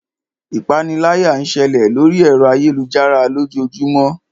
Ipániláyà ń ṣẹlẹ̀ lóri ẹ̀rọ ayélujára lójoojúmó.